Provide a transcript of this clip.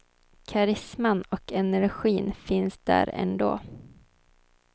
Karisman och energin finns där ändå.